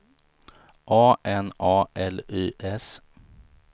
A N A L Y S